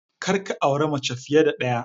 Kar ka aure mace fiye da ɗaya!